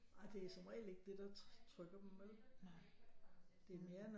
Nej det er som regel ikke det der trykker dem vel det er mere